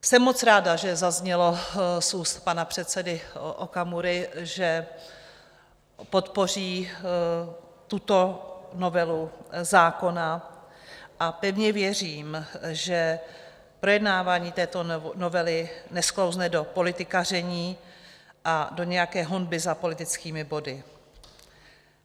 Jsem moc ráda, že zaznělo z úst pana předsedy Okamury, že podpoří tuto novelu zákona a pevně věřím, že projednávání této novely nesklouzne do politikaření a do nějaké honby za politickými body.